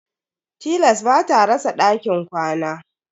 Tilas bata rasa dakin ƙwana.